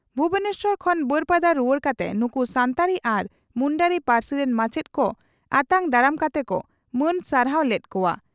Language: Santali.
ᱵᱷᱩᱵᱚᱱᱮᱥᱚᱨ ᱠᱷᱚᱱ ᱵᱟᱹᱨᱯᱟᱫᱟ ᱨᱩᱣᱟᱹᱲ ᱠᱟᱛᱮ ᱱᱩᱠᱩ ᱥᱟᱱᱛᱟᱲᱤ ᱟᱨ ᱢᱩᱱᱰᱟᱹᱨᱤ ᱯᱟᱹᱨᱥᱤ ᱨᱤᱱ ᱢᱟᱪᱮᱛ ᱠᱚ ᱟᱛᱟᱝ ᱫᱟᱨᱟᱢ ᱠᱟᱛᱮ ᱠᱚ ᱢᱟᱹᱱ ᱥᱟᱨᱦᱟᱣ ᱞᱮᱫ ᱠᱚᱜᱼᱟ ᱾